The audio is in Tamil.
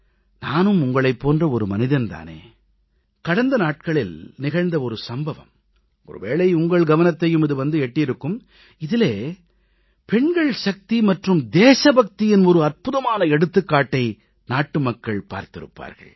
நானும் உங்களைப் போன்ற மனிதன் தானே கடந்த நாட்களில் நிகழ்ந்த சம்பவம் ஒருவேளை உங்கள் கவனத்தையும் இது வந்து எட்டியிருக்கும் இதிலே பெண்கள் சக்தி மற்றும் தேசபக்தியின் அற்புதமான எடுத்துக்காட்டை நாட்டுமக்கள் பார்த்திருப்பார்கள்